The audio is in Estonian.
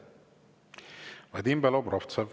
Vadim Belobrovtsev, palun!